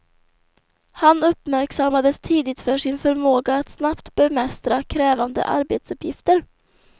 Han uppmärksammades tidigt för sin förmåga att snabbt bemästra krävande arbetsuppgifter.